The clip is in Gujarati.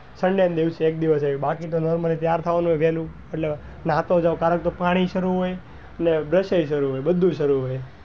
sunday ના દિવસે એક દિવસ એવું બાકી તો normaly તૈયાર થવા નું હોય વેલુ એટલે અને આતો પાણી બી કરવું હોય ને બધુય કરવું હોય.